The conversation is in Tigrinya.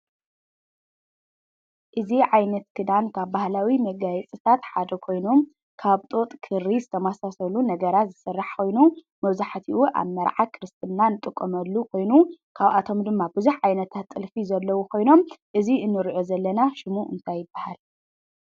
እዚ ዓይነት ክዳን ካብ ባህላዊ መጋየፅታት ሓደ ኮይኖም ካብ ጡጥ፣ ክሪ ዝተመሳሰሉ ነገራት ዝስራሕ ኮይኑ መብዛሕትኡ ኣብ መርዓ፣ ክርስትና ንጥቀመሉ ኮይኑ ካብኣቶም ድማ ብዙሕ ዓይነታት ጥልፊ ዘለዉ ኮይኖም እዚ ንሪኦ ዘለና ሽሙ እንታይ ይበሃል?